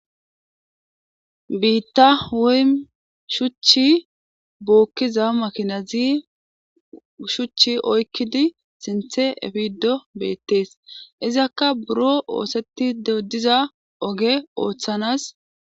biitta woy shuchchi bookkiza makinazi shuchchi oykkidi sinthe efido beettees izakka buro oosetti dediza oge ooththanas